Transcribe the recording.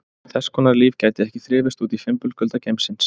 Þess konar líf gæti ekki þrifist úti í fimbulkulda geimsins.